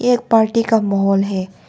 एक पार्टी का माहोल है।